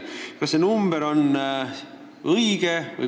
Kas see arv on õige?